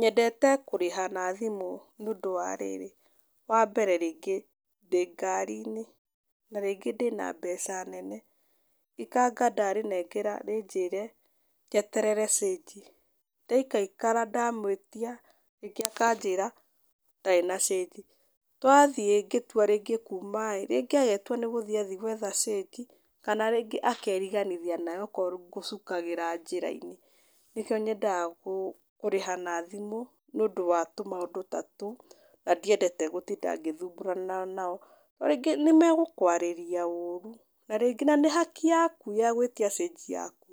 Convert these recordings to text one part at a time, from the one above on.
Nyendete kũrĩha na thimũ nĩ ũndũ wa rĩrĩ, wa mbere rĩngĩ ndĩ ngari-inĩ na rĩngĩ ndĩna mbeca nene, ikanga ndarĩnengera rĩnjĩre njeterere cĩnji. Ndaikaikara ndamũĩtia, nyingĩ akanjĩra, ndarĩ na cĩnji. Twathiĩ ngĩtua rĩngĩ kuuma ĩĩ, rĩngĩ agetua nĩ gũthi athi gwetha cĩnji, kana rĩngĩ akeriganĩria nayo okorwo ngũcukagĩra njĩra-inĩ. Nĩkĩo nyendaga kũrĩha na thimũ, nĩ ũndũ wa tũmaũndũ ta tũu, na ndiendete gũtinda ngĩthumbũrana nao. Rĩngĩ nĩ megũkwarĩria ũũru, na rĩngĩ na nĩ haki yaku ya gwĩtia cĩnji yaku.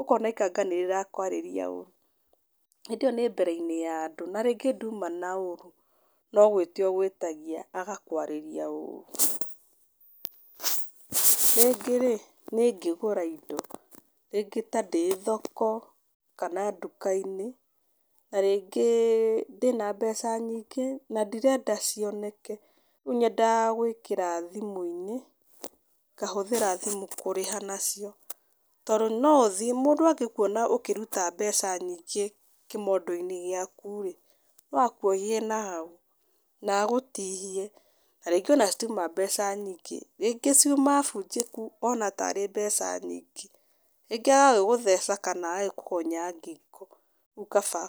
Ũkona ikanga nĩ rĩrakwarĩria ũũru, hĩndĩ ĩyo nĩ mbere ya andũ, na rĩngĩ nduma na ũũru, no gwĩtia ũgwĩtagia agakwarĩria ũũru. Rĩngĩ rĩ, nĩ ngĩgũra indo. Rĩngĩ ta ndĩ thoko, kana nduka-inĩ, na rĩngĩ ndĩna mbeca nyingĩ, na ndirenda cioneke. Rĩu nyendaga gwĩkĩra thimũ-inĩ, ngahũthĩra thimũ kũrĩha nacio, tondũ no ũthiĩ mũndũ angĩkuona ũkĩruta mbeca nyingĩ kĩmondo-inĩ gĩaku rĩ, no akuohie nahau, na agũtihie. Na rĩngĩ ona citiuma mbeca nyingĩ. Rĩngĩ ciuma bunjĩku, ona tarĩ mbeca nyingĩ. Rĩngĩ agagĩgũtheca kana agagĩkũgonya ngingo, rĩu kaba.